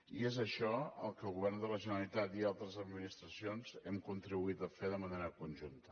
i és això el que el govern de la generalitat i altres administracions hem contribuït a fer de manera conjunta